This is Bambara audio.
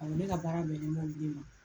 Awɔ ne ka baara bɛnne b'olu de ma.